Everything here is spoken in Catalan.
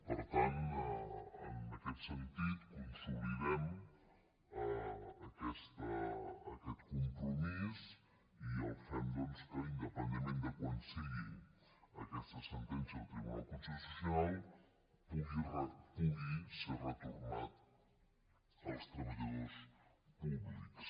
per tant en aquest sentit consolidem aquest compromís i el fet que independentment de quan sigui aquesta sentència del tribunal constitucional pugui ser retornat als treballadors públics